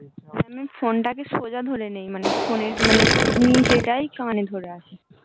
phone টা সোজা ধরে নেই phone মানে নিচে টাই কানে ধরে আছি